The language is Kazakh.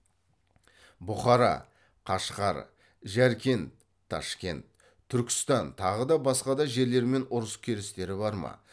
бұқара қашғар жәркент ташкент түркістан тағы да басқа да жерлермен ұрыс керістері бар ма